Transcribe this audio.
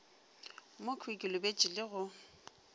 mokhwi ke lebetše le go